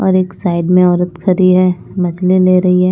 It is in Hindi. और एक साइड में औरत खड़ी है मछली ले रही है।